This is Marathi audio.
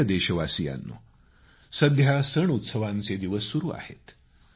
प्रिय देशवासियांनो सध्या सणउत्सवांचे दिवस सुरू आहेत